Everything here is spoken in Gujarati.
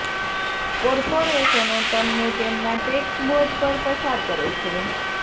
કોર્પોરેશનો તમને તેમના ટેક્સ બોજ પર પસાર કરે છે